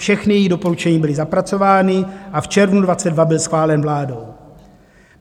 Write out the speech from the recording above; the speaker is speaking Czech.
Všechna její doporučení byla zapracována a v červnu 2022 byl schválen vládou.